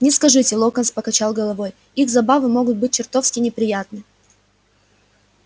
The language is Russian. не скажите локонс покачал головой их забавы могут быть чертовски неприятны